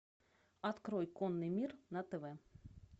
открой конный мир на тв